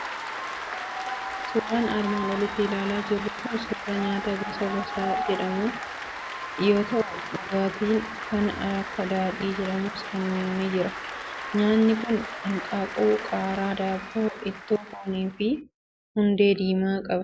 Suuraan armaan olitti ilaalaa jirru kuni suuraa nyaata gosaa gosaa jedhamu yoo ta'u, dhugaatiin kan akka daadhii jedhamus bira ni jira. Nyaatni kun hanqaaquu, qaaraa, daabboo, ittoo foonii fi hundee diimaa qaba.